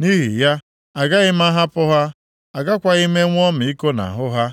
Nʼihi ya, agaghị m ahapụ ha, agakwaghị m enwe ọmịiko nʼahụ ha.